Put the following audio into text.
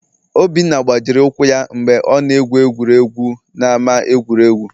Obinna gbajiri ụkwụ ya mgbe ọ na-egwu egwuregwu n'ama egwuregwu